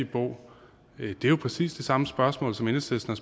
bo er jo præcis det samme spørgsmål som enhedslisten